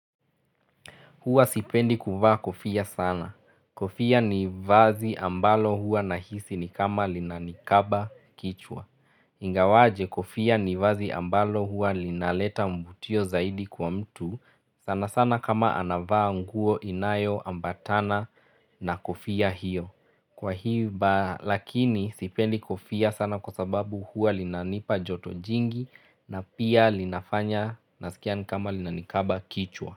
Huwa sipendi kuvaa kofia sana. Kofia ni vazi ambalo huwa nahisi ni kama linanikaba kichwa. Ingawaje kofia ni vazi ambalo huwa linaleta mvutio zaidi kwa mtu. Sana sana kama anavaa nguo inayo ambatana na kofia hiyo. Kwa hiba lakini sipendi kofia sana kwa sababu huwa linanipa joto jingi na pia linafanya nasikia ni kama linanikaba kichwa.